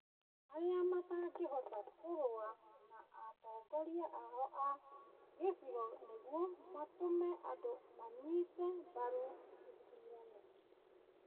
arĩa matangĩhota kũrũa na atongoria ao a gĩcigo nĩguo matũme andũ manyite mbaru ithurano.